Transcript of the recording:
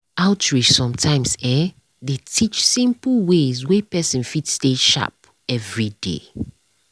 outreach sometimes[um]dey teach simple ways wey person fit stay sharp everyday.